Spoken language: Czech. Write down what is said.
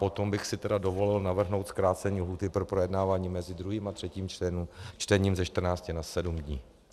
Potom bych si dovolil navrhnout zkrácení lhůty pro projednávání mezi 2. a 3. čtením ze 14 na 7 dní.